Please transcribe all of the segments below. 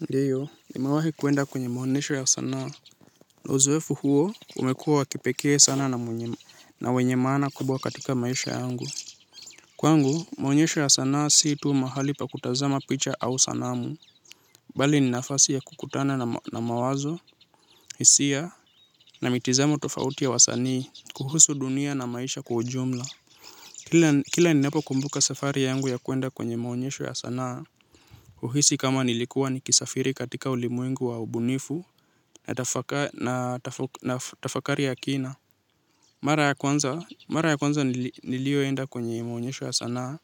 Ndio nimewahi kuenda kwenye maonyesho ya sanaa. Uzoefu huo umekuwa wa kipekee sana na wenye maana kubwa katika maisha yangu. Kwangu maonyesho ya sanaa si tuu mahali pa kutazama picha au sanamu. Bali ni nafasi ya kukutana na mawazo, hisia na mitizamo tofauti ya wasanii kuhusu dunia na maisha kwa ujumla. Kila ninapo kumbuka safari yangu ya kuenda kwenye maonyesho ya sanaa. Uhisi kama nilikuwa nikisafiri katika ulimwengu wa ubunifu. Natafakari ya kina. Mara ya kwanza mara ya kwanza nilioenda kwenye maonyesho ya sanaa.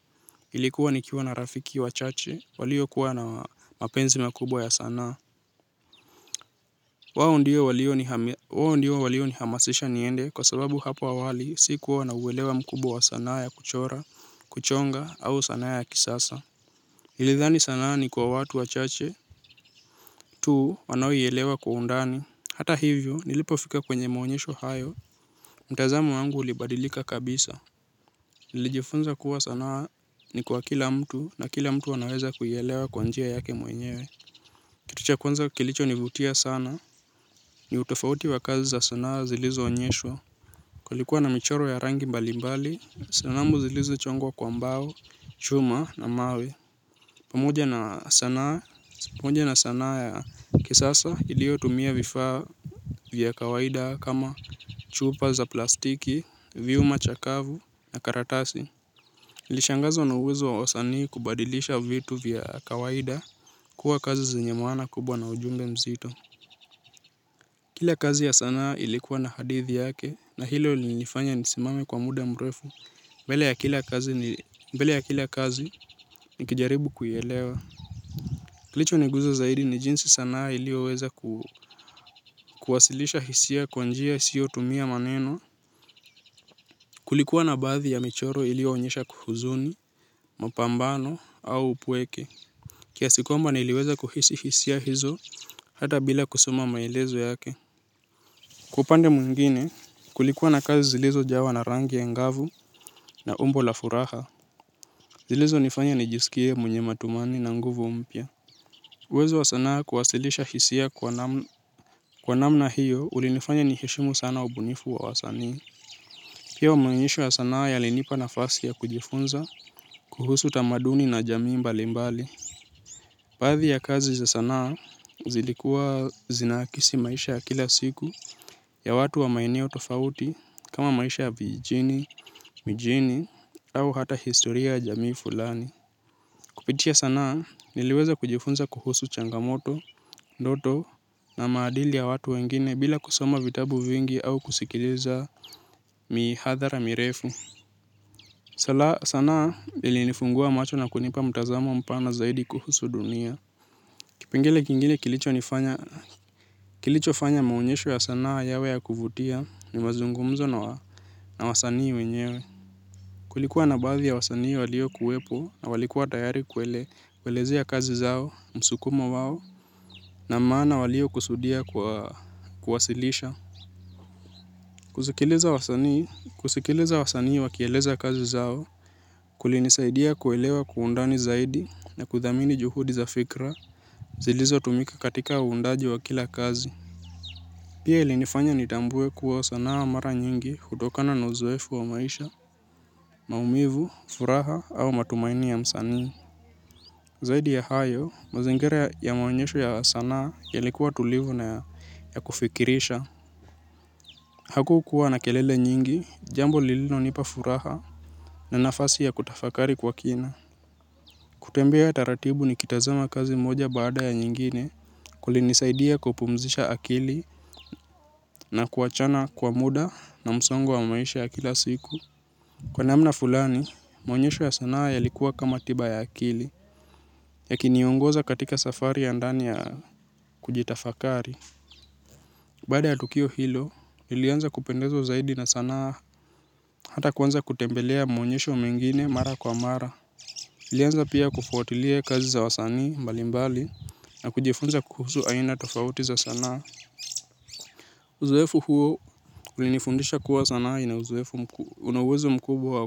Ilikuwa nikiwa na rafiki wachache. Waliokuwa na mapenzi makubwa ya sanaa. Wao ndio walionihamasisha niende kwa sababu hapa awali si kuwa nauelewa mkubwa wa sanaa ya kuchora, kuchonga au sanaa ya kisasa. Nilidhani sanaa ni kwa watu wachache. Tu wanaoielewa kwa undani. Hata hivyo nilipofika kwenye maonyesho hayo. Mtazamo wangu ulibadilika kabisa nilijifunza kuwa sanaa ni kwa kila mtu na kila mtu anaweza kuielewa kwa njia yake mwenyewe kitu cha kwanza kilichonivutia sana ni utofauti wa kazi za sanaa zilizoonyeshwa. Kulikuwa na michoro ya rangi mbalimbali, sanamu zilizochongwa kwa mbao, chuma na mawe pamoja na sanaa ya kisasa iliotumia vifaa vya kawaida kama chupa za plastiki, vyuma chakavu na karatasi. Nilishangazwa na uwezo wa wasanii kubadilisha vitu vya kawaida kuwa kazi zenye maana kubwa na ujumbe mzito. Kila kazi ya sanaa ilikuwa na hadithi yake na hilo lilinifanya nisimame kwa muda mrefu. Mbele ya kila kazi nikijaribu kuielewa. Kilichoniguza zaidi ni jinsi sanaa iliyoweza kuwasilisha hisia kwa njia isiyotumia maneno. Kulikuwa na baadhi ya michoro iliyoonyesha kuhuzuni, mapambano au upweke kiasi kwamba niliweza kuhisi hisia hizo hata bila kusoma maelezo yake kwa upande mwingine kulikuwa na kazi zilizojawa na rangi ya ngavu na umbo la furaha zilizonifanya nijisikie mwenye matumani na nguvu mpya. Uwezo wa sanaa kuwasilisha hisia kwa namna hiyo ulinifanya niheshimu sana ubunifu wa wasanii. Pia maonyesho ya sanaa yalinipa nafasi ya kujifunza kuhusu utamaduni na jamii mbalimbali. Baadhi ya kazi za sanaa zilikuwa zinakisi maisha ya kila siku ya watu wa maeneo tofauti kama maisha ya vijini, mijini, au hata historia ya jamii fulani. Kupitia sanaa niliweza kujifunza kuhusu changamoto, ndoto na maadili ya watu wengine bila kusoma vitabu vingi au kusikiliza mihadhara mirefu. Sanaa ilinifungua macho na kunipa mtazamo mpana zaidi kuhusu dunia. Kipengele kingine kilichonifanya, kilicho fanya maonyesho ya sanaa yawe ya kuvutia ni mazungumzo na wasanii wenyewe. Kulikuwa na baadhi ya wasanii waliokuwepo na walikuwa tayari kuele, kuelezea kazi zao, msukumo wao, na maana waliyokusudia kwa kuwasilisha. Kusikiliza wasanii wakieleza kazi zao, kulinisaidia kuelewa kwa undani zaidi na kudhamini juhudi za fikra, zilizotumika katika uundaji wa kila kazi. Pia ilinifanya nitambue kuwa sanaa mara nyingi hutokana na uzoefu wa maisha, maumivu, furaha au matumaini ya msanii. Zaidi ya hayo, mazingira ya maonyesho ya sanaa yalikuwa tulivu na ya kufikirisha. Hakukuwa na kelele nyingi, jambo lilinonipa furaha na nafasi ya kutafakari kwa kina. Kutembea taratibu nikitazama kazi moja baada ya nyingine kulinisaidia kupumzisha akili na kuachana kwa muda na msongo wa maisha ya kila siku. Kwa namna fulani, maonyesho ya sanaa yalikuwa kama tiba ya akili yakiniongoza katika safari ya ndani ya kujitafakari. Baada ya tukio hilo nilianza kupendezwa zaidi na sanaa. Hata kuanza kutembelea muonyesho mwingine mara kwa mara ilianza pia kufuatilia kazi za wasanii mbalimbali na kujifunza kuhusu aina tofauti za sanaa. Uzoefu huo ulinifundisha kuwa sanaa ina uzoefu una uwezo mkubwa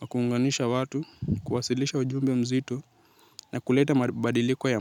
wa kuunganisha watu kuwasilisha ujumbe mzito na kuleta mabadiliko.